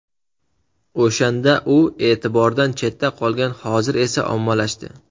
O‘shanda u e’tibordan chetda qolgan, hozir esa ommalashdi.